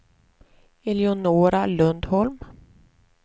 Eleonora Lundholm